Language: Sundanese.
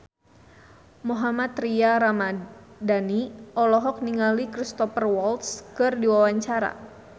Mohammad Tria Ramadhani olohok ningali Cristhoper Waltz keur diwawancara